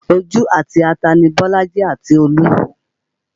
Ojú àti ata ni Bolaji àti Olú